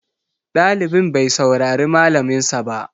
Ɗalibin bai saurari malamin sa ba